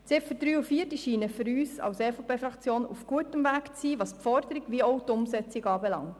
Die Ziffern 3 und 4 scheinen für uns als EVP-Fraktion auf gutem Weg zu sein, sowohl was die Forderung als auch deren Umsetzung anbelangt.